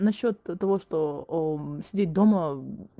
насчёт то того что сидеть дома